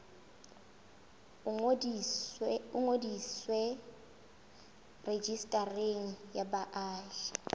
o ngodiswe rejistareng ya baahi